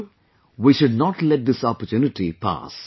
So, we should not let this opportunity pass